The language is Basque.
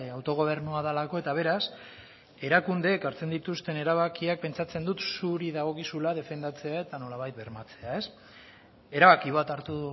autogobernua delako eta beraz erakundeek hartzen dituzten erabakiak pentsatzen dut zuri dagokizula defendatzea eta nolabait bermatzea erabaki bat hartu